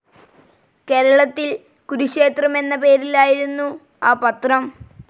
കേരളത്തിൽ കുരുക്ഷേത്രം എന്ന പേരിലായിരുന്നു ആ പത്രം.